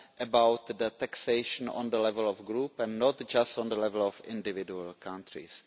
about the taxation on the level of the group and not just on the level of individual countries.